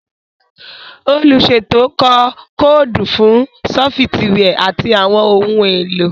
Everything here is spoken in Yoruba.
Oluṣeto kọ koodu fun sọfitiwia ati awọn ohun elo.